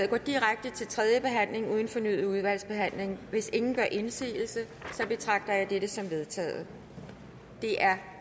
går direkte til tredje behandling uden fornyet udvalgsbehandling hvis ingen gør indsigelse betragter jeg dette som vedtaget det er